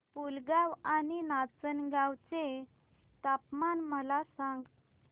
पुलगांव आणि नाचनगांव चे तापमान मला सांग